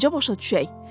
Bunu necə başa düşək?